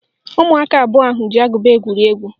Ụmụaka abụọ ahụ ji agụba egwuri egwu